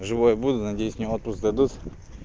живой буду надеюсь мне отпуск дадут